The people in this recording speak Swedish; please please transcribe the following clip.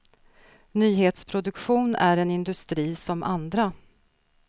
Nyhetsproduktion är en industri som andra.